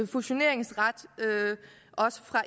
fusioneringsret også